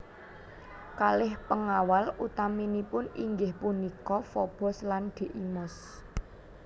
Kalih pengawal utaminipun inggih punika Fobos lan Deimos